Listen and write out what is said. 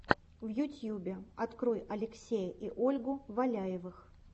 в ютьюбе открой алексея и ольгу валяевых